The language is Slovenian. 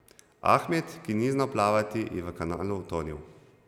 Ahmed, ki ni znal plavati, je v kanalu utonil.